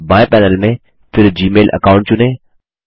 बाएँ पैनल में फिर जीमेल अकाउंट चुनें